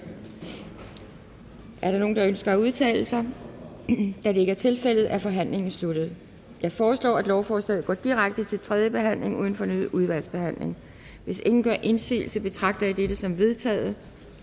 er der nogen der ønsker at udtale sig da det ikke er tilfældet er forhandlingen sluttet jeg foreslår at lovforslaget går direkte til tredje behandling uden fornyet udvalgsbehandling hvis ingen gør indsigelse betragter jeg dette som vedtaget